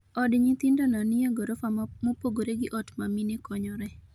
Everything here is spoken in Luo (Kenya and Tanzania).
od nyithindo no ni e grofa mopogre gi ot ma mine konyoreye